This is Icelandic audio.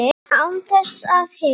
Án þess að hika.